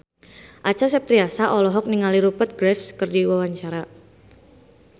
Acha Septriasa olohok ningali Rupert Graves keur diwawancara